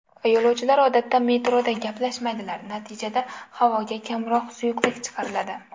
Yo‘lovchilar odatda metroda gaplashmaydilar, natijada havoga kamroq suyuqlik chiqariladi.